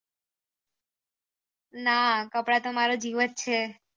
ના કપડા તો મારા જીવ જ છે